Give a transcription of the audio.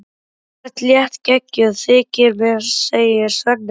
Þú ert léttgeggjuð, þykir mér, segir Svenni.